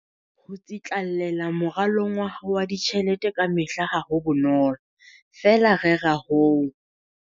Ho tsitlallela moralong wa hao wa ditjhelete kamehla ha ho bonolo, feela rera ho.